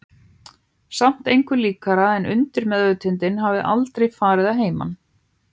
Samt engu líkara en undirvitundin hafi aldrei farið að heiman.